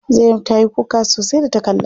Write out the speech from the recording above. Zainab ta yi kuka sosai da ta kalla.